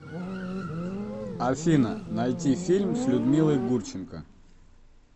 афина найти фильм с людмилой гурченко